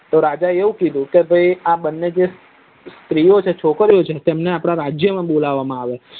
તો રાજા એ એવું કીધું કે ભાઈ આ બને જે સ્ત્રી ઓ છે જે છોકરી ઓ તમને આપડા રાજય માં બોલવા માં આવે